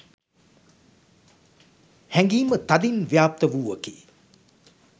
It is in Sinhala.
හැඟීම තදින් ව්‍යාප්ත වූවකි